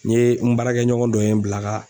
N ye n baarakɛɲɔgɔn dɔ ye n bil'a ka